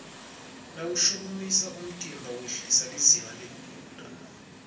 mawushukumisa umtimba wehlisa lizinga lekugula